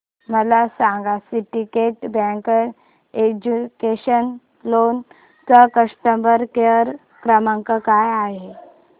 मला सांगा Syndicate bank educational loan चा कस्टमर केअर क्रमांक काय आहे